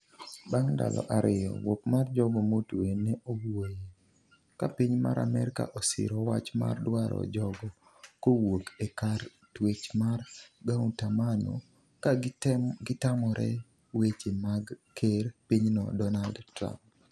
bang ndalo ariyo wuok mar jogo motwe ne owuoye, ka piny mar Amerka osiro wach mar dwaro jogo kowuok e kar twech mar Guantamano, ka gitamore weche mag ker pinyno Donald Trump.